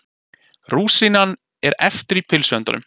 Rúsínan er eftir í pylsuendanum.